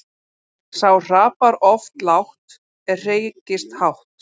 Sá hrapar oft lágt sem hreykist hátt.